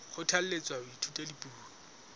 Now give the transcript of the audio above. kgothalletswa ho ithuta dipuo tse